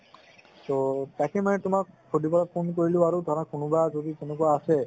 so তাকেই মানে তুমাক সুধিবলৈ phone কৰিলো আৰু ধৰা কোনোবা যদি তেনেকুৱা আছে